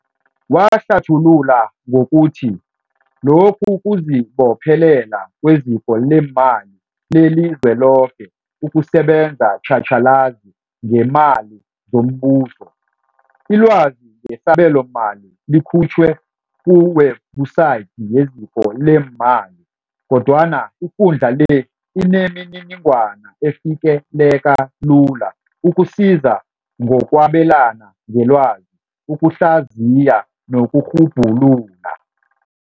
Wahlathulula ngokuthi, Lokhu kuzibophelela kweZiko leeMali leliZweloke ukusebenza tjhatjhalazi ngeemali zombuso. Ilwazi ngesabelomali likhutjhiwe kuwebhusayithi yeZiko leeMali, kodwana ikundla le inemininingwana efikeleleka lula, ukusiza ngokwabelana ngelwazi, ukuhlazi ya nokurhubhulula.